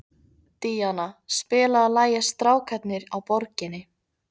Díanna, spilaðu lagið „Strákarnir á Borginni“.